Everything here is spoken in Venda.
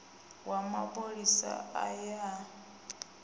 wa mapholisa a ye a